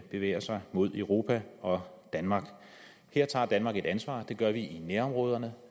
bevæger sig mod europa og danmark her tager danmark et ansvar det gør vi i nærområderne